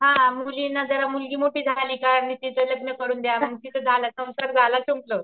हा मुलींना जरा मुलगी मोठीं झाली का म तीच लग्न करून द्या म तीच झालं संसार झाला संपल.